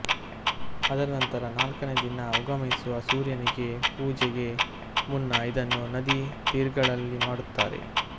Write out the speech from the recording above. ಅದರ ನಂತರ ನಾಲ್ಕನೆಯ ದಿನ ಉಗಮಿಸುವ ಸೂರ್ಯನಿಗೆ ಪೂಜೆಗೆ ಮುನ್ನ ಇದನ್ನು ನದಿ ತೀರ್ಗಳಲ್ಲಿ ಮಾಡುತ್ತಾರೆ